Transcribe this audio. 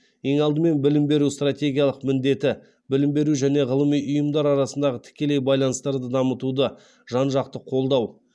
ең алдымен білім беру стратегиялық міндеті білім беру және ғылыми ұйымдар арасындағы тікелей байланыстарды дамытуды жан жақты қолдау